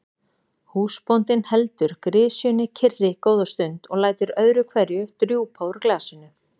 Húsbóndinn heldur grisjunni kyrri góða stund og lætur öðru hverju drjúpa úr glasinu.